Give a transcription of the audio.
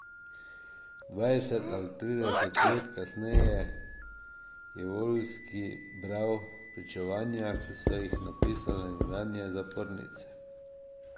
Dvajset ali trideset let kasneje je Voljski bral pričevanja, ki so jih napisale nekdanje zapornice.